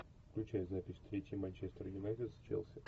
включай запись встречи манчестер юнайтед с челси